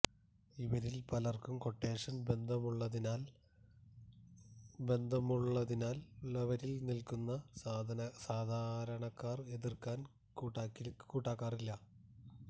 ഇവരിൽ പലർക്കും ക്വട്ടേഷൻ ബന്ധമുള്ളതിനാൽ വരിയിൽ നിൽക്കുന്ന സാധാരണക്കാർ എതിർക്കാൻ കൂട്ടാക്കാറില്ല